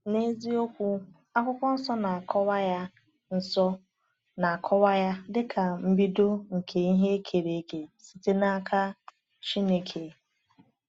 N’eziokwu, Akwụkwọ Nsọ na-akọwa ya Nsọ na-akọwa ya dịka “mbido nke ihe e kere eke site n’aka Chineke.”